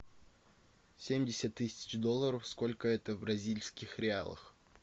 семьдесят тысяч долларов сколько это в бразильских реалах